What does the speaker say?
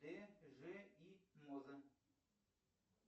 т ж и моза